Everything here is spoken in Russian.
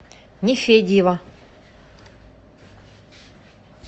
нефедьева